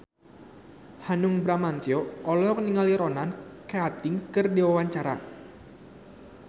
Hanung Bramantyo olohok ningali Ronan Keating keur diwawancara